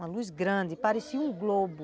Uma luz grande, parecia um globo.